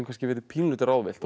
verið pínulítið ráðvillt þetta er